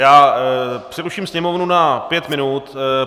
Já přeruším sněmovnu na pět minut.